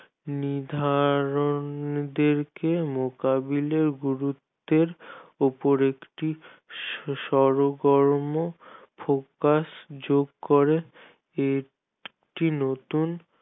নির্ধারন দেরকে মোকাবিলার গুরুত্বের উপর একটি শরকর্ম focus যোগ করে